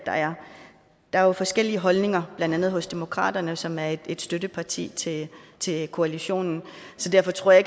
der er jo forskellige holdninger blandt andet hos demokraterne som er et støtteparti til til koalitionen så derfor tror jeg